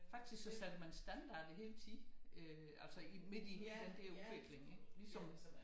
Faktisk så satte man standarder hele tiden altså midt i den der udvikling ikke ligesom